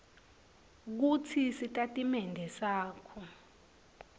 kutsi sitatimende sakho